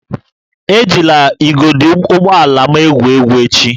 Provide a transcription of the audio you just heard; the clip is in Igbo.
Ejila igodo ụgbọ ala m egwu egwu echi!